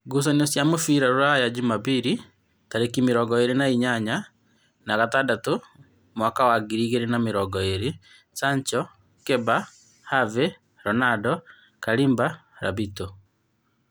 Ngucanio cia mũbira Ruraya Jumabiri tarĩki mĩrongo ĩrĩ na inyanya wa gatandatũ mwaka wa ngiri igĩrĩ na mĩrongo ĩrĩ: Sacho, Keba, Have, Ronando, Kalimba, Rabito